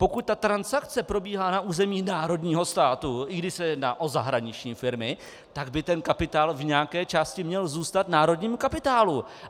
Pokud ta transakce probíhá na území národního státu, i když se jedná o zahraniční firmy, tak by ten kapitál v nějaké části měl zůstat národnímu kapitálu.